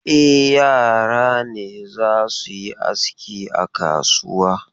E, yara ne za su yi aski a kasuwa.